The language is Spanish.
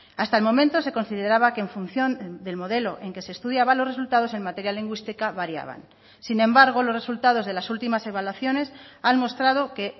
hasta el momento se consideraba que en función del modelo en que se estudiaba los resultados en materia lingüística variaban sin embargo los resultados de las últimas evaluaciones han mostrado que